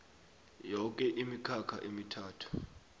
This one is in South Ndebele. yoke imikhakha emithathu